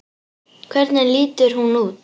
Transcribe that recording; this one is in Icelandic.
Hvernig lítur hún út?